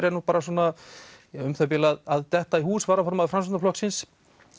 er nú bara svona um það bil að detta í hús varaformaður Framsóknarflokksins